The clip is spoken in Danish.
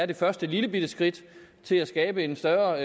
det første lillebitte skridt til at skabe en større